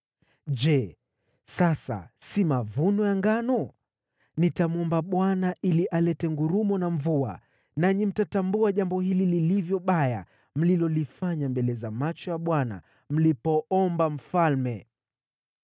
Je, sasa si mavuno ya ngano? Nitamwomba Bwana ili alete ngurumo na mvua. Nanyi mtatambua jambo hili lilivyo baya mlilolifanya mbele za macho ya Bwana mlipoomba mfalme.”